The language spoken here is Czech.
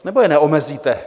Nebo je neomezíte?